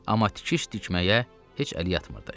amma tikiş tikməyə heç əli yatmırdı.